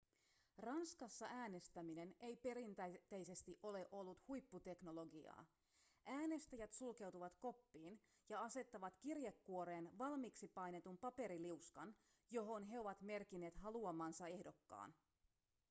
ranskassa äänestäminen ei perinteisesti ole ollut huipputeknologiaa äänestäjät sulkeutuvat koppiin ja asettavat kirjekuoreen valmiiksi painetun paperiliuskan johon he ovat merkinneet haluamansa ehdokkaan